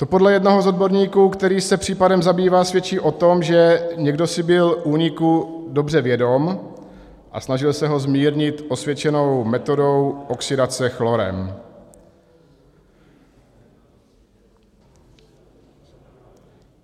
To podle jednoho z odborníků, který se případem zabývá, svědčí o tom, že někdo si byl úniku dobře vědom a snažil se ho zmírnit osvědčenou metodou oxidace chlorem.